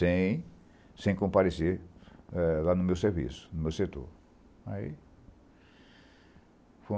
Sem... Sem comparecer ah lá no meu serviço, no meu setor. Aí